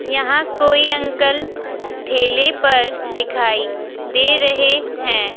यहां कोई अंकल ठेले पर दिखाई दे रहे हैं।